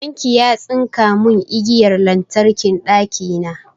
Ɗan ki ya tsinka mun igiyar lantarkin ɗakina